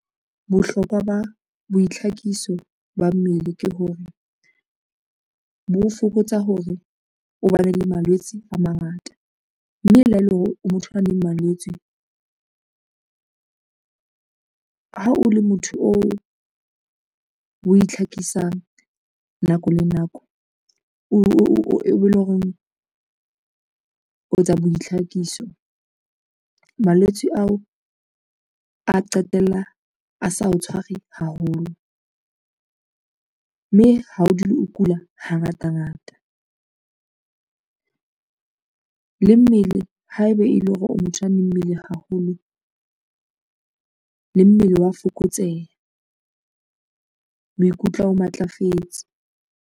Bohlokwa ba boitlhakiso ba mmele ke hore, bo fokotsa hore o bane le malwetse a mangata, mme le ha ele hore o motho a leng malwetswe ha o le motho oo o itlhakisang nako le nako, eo e lo reng o etsa boitlhakiso. Malwetse ao a qetella a sa o tshware haholo, mme ha o dule o kula ha ngata ngata le mmele haebe e le hore o motho a mmele haholo, le mmele wa fokotseha, o ikutlwa o matlafetse.